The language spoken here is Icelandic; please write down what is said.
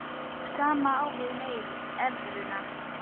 Sama á við um evruna.